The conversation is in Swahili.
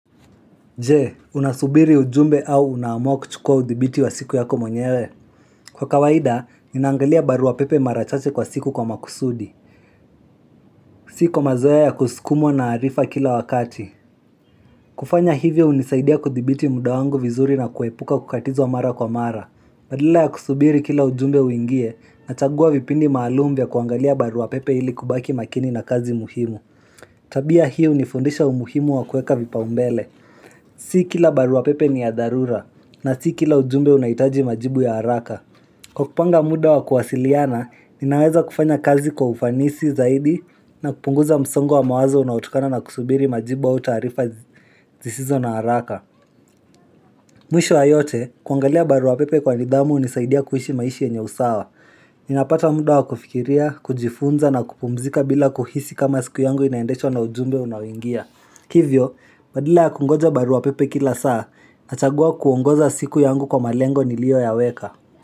Je, unasubiri ujumbe au unaamua kuchukua udhibiti wa siku yako mwenyewe. Kwa kawaida, ninaangalia barua pepe marachache kwa siku kwa makusudi. Siko mazoea ya kusukumwa na arifa kila wakati. Kufanya hivyo unisaidia kudhibiti mda wangu vizuri na kuepuka kukatizwa mara kwa mara. Badala ya kusubiri kila ujumbe uingie, nachagua vipindi maalum vya kuangalia barua pepe ili kubaki makini na kazi muhimu. Tabia hiu ni fundisha umuhimu wa kueka vipau mbele. Siikila barua pepe ni ya darura. Na siiki ila ujumbe unaitaji majibu ya haraka. Kwa kupanga muda wa kuwasiliana, ninaweza kufanya kazi kwa ufanisi zaidi na kupunguza msongo wa mawazo unautokana na kusubiri majibu wa utarifa zisizo na haraka. Mwisho wa yote, kuangalia barua pepe kwa nidhamu unisaidia kuhishi maishi yenye usawa. Ninapata mda wa kufikiria, kujifunza na kupumzika bila kuhisi kama siku yangu inaendeshwa na ujumbe unaoingia. Hivyo, badala kungoja barua pepe kila saa, nachagua kuongoza siku yangu kwa malengo nilio yaweka.